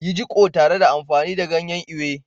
Yi jiƙo tare da amfani da ganyen Ewe.